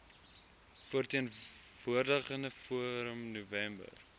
verteenwoordigende forum november